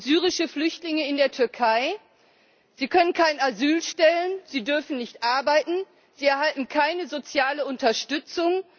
Syrische Flüchtlinge in der Türkei Sie können keinen Asylantrag stellen, sie dürfen nicht arbeiten, sie erhalten keine soziale Unterstützung.